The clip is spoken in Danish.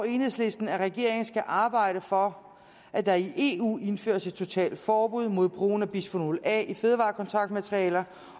enhedslisten at regeringen skal arbejde for at der i eu indføres et totalt forbud mod brugen af bisfenol a i fødevarekontaktmaterialer